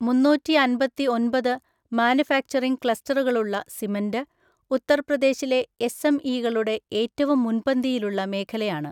മുന്നൂറ്റിഅൻപത്തിഒൻപത് manufacturing ക്ലസ്റ്ററുകളുള്ള cement, ഉത്തർപ്രദേശിലെ എസ്എംഇകളുടെ ഏറ്റവും മുൻപന്തിയിലുള്ള മേഖലയാണ്.